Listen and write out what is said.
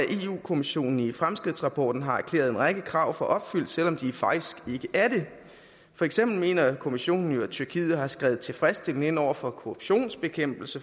kommissionen i fremskridtsrapporten har erklæret en række krav for opfyldt selv om de faktisk ikke er det for eksempel mener kommissionen jo at tyrkiet har skredet tilfredsstillende ind over for korruptionsbekæmpelse